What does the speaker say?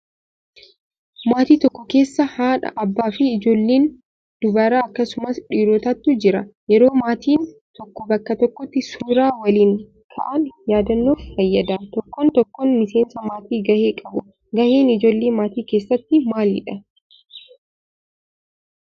Maatii tokko keessa haadha, abbaa fi ijoollee dubaraa akkasumas dhiirotatu jiru. Yeroo maatiin tokko bakka tokkotti suuraa waliin ka'an yaadannoof fayyada. Tokkoon tokkoo miseensa maatii gahee qabu. Gaheen ijoollee maatii keessatti maalidhaa?